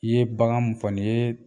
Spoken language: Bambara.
I ye bagan mun fɔ nin yee